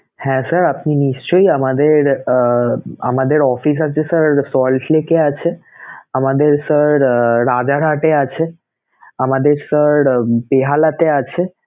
হ্যাঁ sir আপনি নিশ্চয়ই আমাদের আহ আমাদের অফিস আছে এ আছে sir falls lake এ আছে, আমাদের sir রাজারহাটে আছে, আমাদের sir বেহালাতে আছে